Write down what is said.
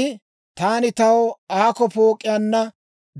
I, «Taani taw aakko pook'iyaanna